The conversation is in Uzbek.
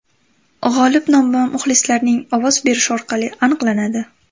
G‘olib nomi muxlislarning ovoz berishi orqali aniqlanadi.